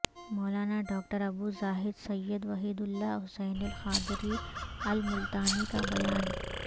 مولانا doctor Abu Zahid Syed Wahidullah Hussaini Alqadri Almultani کا بیان